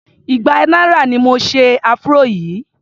igba náírà ni mo se afro yìí.